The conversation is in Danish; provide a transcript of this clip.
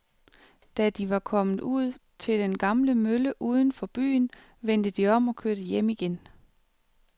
Da de var kommet ud til den gamle mølle uden for byen, vendte de om og kørte hjem igen.